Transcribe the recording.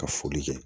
Ka foli kɛ